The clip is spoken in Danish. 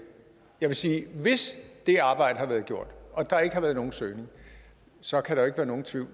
jeg vil sige at hvis det arbejde har været gjort og der ikke har været nogen søgning så kan der ikke være nogen tvivl